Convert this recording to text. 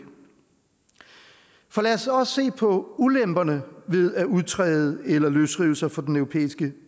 lad os også se på ulemperne ved at udtræde af eller løsrive sig fra den europæiske